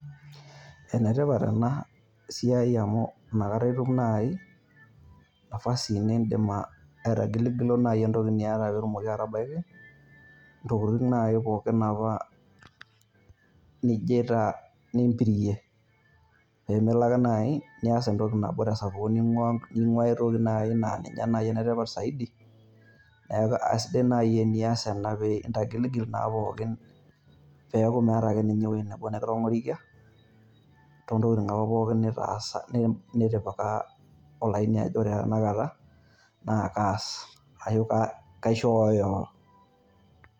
Ene tipat ena siai amu nakata etum natii nafasi niidim aitigilogilo entiloki niata pee etumoki atabaki, entokitin' nai pooki nijo aitaa nimbirie pee melo ake nayi nias entoki nabo tesapuko neing'ua ae toki naji naa ninye naii enetipat saidi neeku aisidai naii enias ena pee entagiligil naa pooki peeku meeta ake ninye ewueji nebo nikitong'orikia toontokitin apa pooki nitipaka olaini ajo naa kaas ashu kaishooyo.